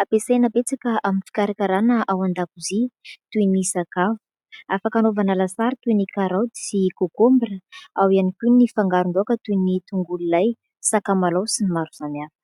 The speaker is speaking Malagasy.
ampiasaina betsaka amin'ny fikarakarana ao an-dakozia, toy ny sakafo. Afaka anaovana lasary toy ny karaoty sy "concombre" ; ao ihany kao ny fangaron-daoka toy ny tongolo lay, sakamalao sy ny maro samy hafa.